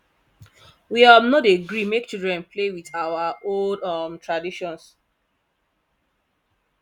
we um no dey gree make children play with our old um traditions